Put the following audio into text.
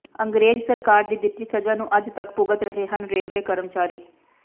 ਅੰਗਰੇਜ਼ ਸਰਕਾਰ ਦੀ ਦਿੱਤੀ ਸਜ਼ਾ ਨੂੰ ਅੱਜ ਤੱਕ ਭੁਗਤ ਰਹੇ ਹਨ ਰੇਲਵੇ ਕਰਮਚਾਰੀ